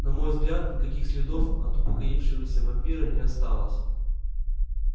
на мой взгляд никаких следов от упокоившегося вампира не осталось